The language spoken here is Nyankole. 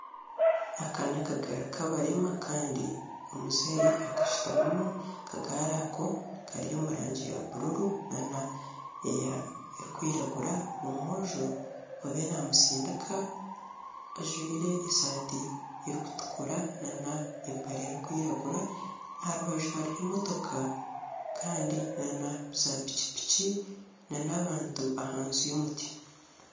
Aka nakagari akabarema Kandi omuzeyi akashitamimu. Akagari ako Kari omurangi ya buruuru na n'erikwiragura. Omwojo oriyo namustindika ajwire esati erikutukura na n'empare erikwiragura. Aharubaju hariho emotoka Kandi na za pikipiki na na'bantu ahansi y'omuti.